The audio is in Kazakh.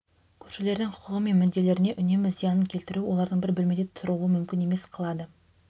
көршілердің құқығы мен мүдделеріне үнемі зиянын келтіру олардың бір бөлмеде тұруын мүмкін емес қылады